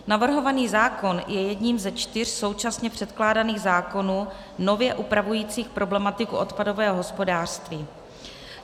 Navrhovaný zákon je jedním ze čtyř současně předkládaných zákonů nově upravujících problematiku odpadového hospodářství.